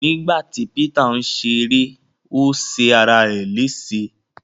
Nígbàtí Peter n ṣeré o ṣe ará é lése.